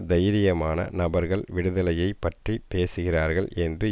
தைரியமான நபர்கள் விடுதலையைப் பற்றி பேசுகிறார்கள் என்று